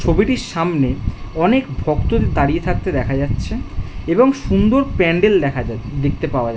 ছবিটির সামনে অনেক ভক্ত দাঁড়িয়ে থাকতে দেখা যাচ্ছে। এবং সুন্দর প্যান্ডেল দেখা যাচ্ছে দেখতে পাওয়া যাচ্ছে।